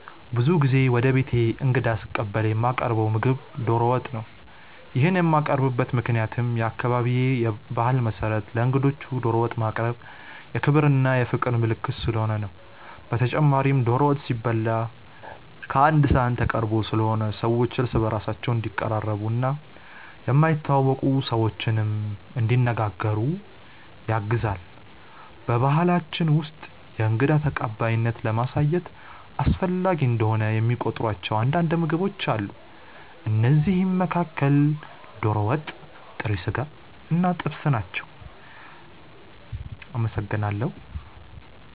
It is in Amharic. ብዙ ጊዜ ወደ ቤቴ እንግዳ ስቀበል የማቀርው ምግብ ዶሮ ወጥ ነው። ይሄንን የማቀርብበት ምክንያትም በአካባቢዬ ባህል መሰረት ለእንግዶች ዶሮ ወጥ ማቅረብ የክብር እና የፍቅር ምልክት ስለሆነ ነው። በተጨማሪም ዶሮ ወጥ ሲበላ ቀአንድ ሰሀን ተቀርቦ ስለሆነ ሰዎች እርስ በእርስ እንዲቀራረቡ እና የማይተዋወቁ ሰዎችንም እንዲነጋገሩ ያግዛል። በባሕላችን ውስጥ የእንግዳ ተቀባይነትን ለማሳየት አስፈላጊ እንደሆነ የሚቆጥሯቸው አንዳንድ ምግቦች አሉ። ከእነዚህም መካከል ዶሮ ወጥ፣ ጥሬ ስጋ እና ጥብስ ናቸው።